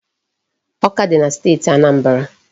Awka dị na Steeti Anambra.